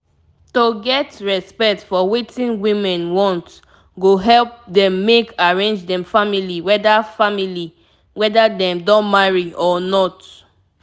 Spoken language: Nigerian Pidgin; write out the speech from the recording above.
to get respect for wetin women want go help dem make arrange dem family weda family weda dem don marry or not